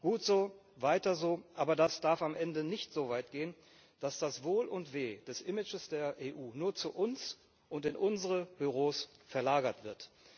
Gut so, weiter so, aber das darf am Ende nicht so weit gehen, dass das Wohl und Weh des Images der EU nur zu uns und in unsere Büros verlagert wird.